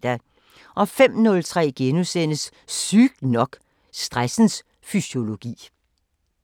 05:03: Sygt nok: Stressens fysiologi *